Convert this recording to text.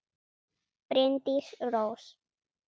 Bryndís Rós.